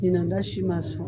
Ɲinan ta si man sɔn.